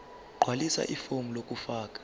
gqwalisa ifomu lokufaka